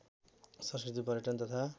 संस्कृति पर्यटन तथा